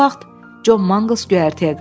Bu vaxt Con Manqıls göyərtəyə qalxdı.